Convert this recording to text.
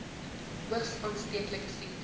hoogs aansteeklike siektes